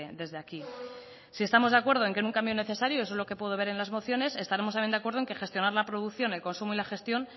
desde aquí si estamos de acuerdo en que es un cambio es necesario eso es lo que puedo ver en las mociones estaremos también de acuerdo en que gestionar la producción el consumo y la gestión